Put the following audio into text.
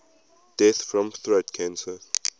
deaths from throat cancer